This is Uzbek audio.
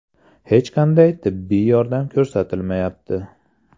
Hech qanday tibbiy yordam ko‘rsatilmayapti.